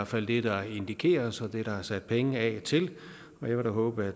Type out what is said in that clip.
fald det der indikeres og det der er sat penge af til og jeg vil da håbe